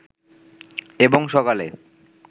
এবং সকালে